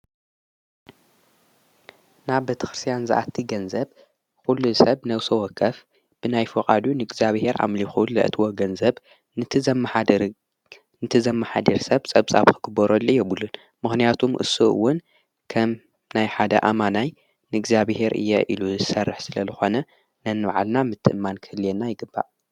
ናብ በተኽርስያን ዝኣቲ ገንዘብ ዂሉ ሰብ ነውሶወከፍ ብናይ ፉቓዱ ንእግዚኣብሔር ዓምሊኹል ለእትወ ገንዘብ ንቲ ዘመኃድር ሰብ ጸብጻብ ኽግበረሉ የብሉን ምሕንያቱም እሱእውን ከም ናይ ሓደ ኣማናይ ንእግዚኣብሔር እየ ኢሉ ዝሠርሕ ስለ ልኾነ ነንመዓልና ምትእማን ክህልየና ይግባእ።